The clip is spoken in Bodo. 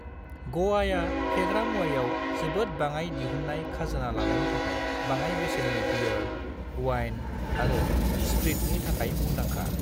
ग'वाआ फेग्रा मुवाआव जोबोद बाङाइ दिहुननाय खाजोना लानायनि थाखाय बाङाइ बेसेननि बीयेर, वाइन आरो स्प्रिटनि थाखाय मुंदांखा।